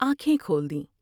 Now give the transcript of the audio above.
آنکھیں کھول دیں ۔